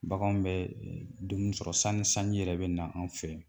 Baganw bɛ dumuni sɔrɔ sanni sanji yɛrɛ bɛ na an fɛ